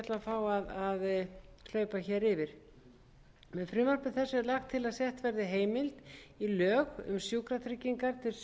ætla að fá að hlaupa yfir með frumvarpi þessu er lagt til að sett verði heimild í lög um sjúkratryggingar